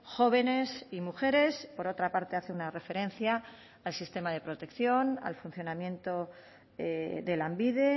jóvenes y mujeres por otra parte hace una referencia al sistema de protección al funcionamiento de lanbide